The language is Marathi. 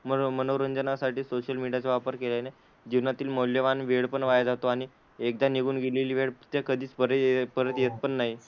मनो मनोरंजनासाठी सोशल मीडियाचा वापर केल्याने जीवनातील मौल्यवान वेळपण वाया जातो आणि एकदा निघून गेलेली वेळ ती कधीच परे परत येतपण नाही.